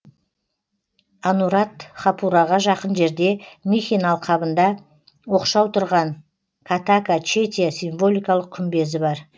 анурадхапураға жақын жерде михин алқабында оқшау тұрған катака четия символикалық күмбезі бар